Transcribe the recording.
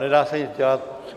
Nedá se nic dělat.